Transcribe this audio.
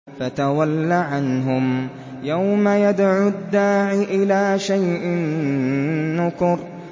فَتَوَلَّ عَنْهُمْ ۘ يَوْمَ يَدْعُ الدَّاعِ إِلَىٰ شَيْءٍ نُّكُرٍ